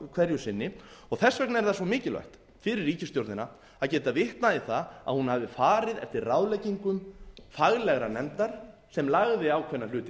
hverju sinni og þess vegna er það svo mikilvægt fyrir ríkisstjórnina að geta vitnað í það að hún hafi farið eftir ráðleggingum faglegrar nefndar sem lagði ákveðna hluti